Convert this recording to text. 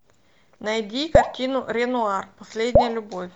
найди картину ренуар последняя любовь